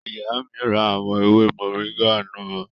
Ìyá mi ra àwọn ewé mọ̀ríńgà náà